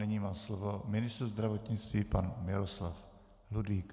Nyní má slovo ministr zdravotnictví pan Miloslav Ludvík.